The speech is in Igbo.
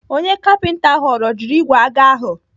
Onye kapinta ahụ ọ rọjiri igwe aga ahụ?